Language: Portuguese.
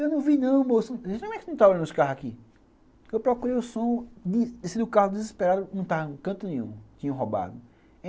Eu não vi não, moço. eu procurei o som, desci do carro desesperado, não estava em canto nenhum, tinham roubado.